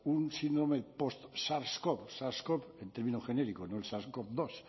un síndrome postsars cov sars cov en término genérico no el sars cov bi